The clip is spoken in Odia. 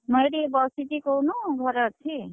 ମୁଁ ଏଇଠି ବସିଚି କହୁନୁ ଘରେ ଅଛି।